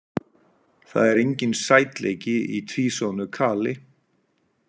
Það er enginn sætleiki í tvísoðnu kali.